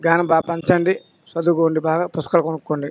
జ్ఞానం బాగా పెంచండి చదువుకోండి బాగా పుస్తకం కొనుకోండి.